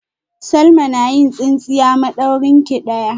Salma na yin tsintsiya madaurinki daya